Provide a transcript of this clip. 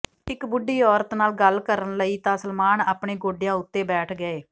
ਇੱਕ ਬੁਢੀ ਔਰਤ ਨਾਲ ਗੱਲ ਕਰਨ ਲਈ ਤਾਂ ਸਲਮਾਨ ਆਪਣੇ ਗੋਡਿਆਂ ਉੱਤੇ ਬੈਠ ਗਏ